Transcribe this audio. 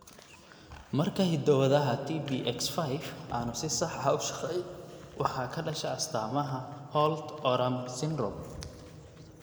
Marka hiddo-wadaha TBX5 aanu si sax ah u shaqayn, waxa ka dhasha astaamaha Holt Oram syndrome.